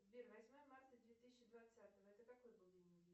сбер восьмое марта две тысячи двадцатого это какой был день недели